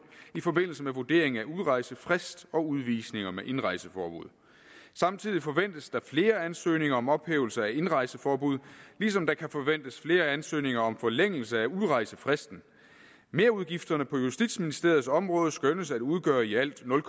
i forbindelse med vurderingen af udrejsefrist og udvisninger med indrejseforbud samtidig forventes der flere ansøgninger om ophævelse af indrejseforbud lige som der kan forventes flere ansøgninger om forlængelse af udrejsefristen merudgifterne på justitsministeriets område skønnes at udgøre i alt nul